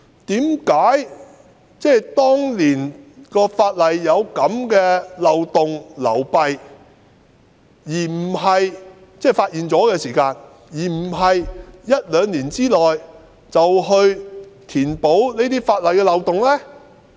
當年發現法例有這樣的漏洞和流弊後，為何不在一兩年內填補法例的漏洞呢？